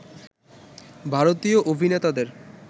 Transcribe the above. ভারতীয় অভিনেতাদের